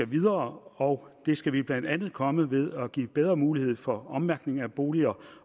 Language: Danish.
videre og det skal vi blandt andet komme ved at give bedre mulighed for ommærkning af boliger